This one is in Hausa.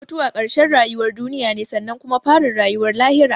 Mutuwa karshen rayuwar duniya ne sannan kuma farin rayuwar lahira